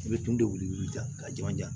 I bɛ tun de weele ka jiman jan